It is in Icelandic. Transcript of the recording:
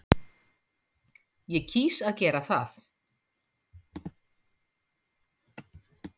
Ég kýs að gera það.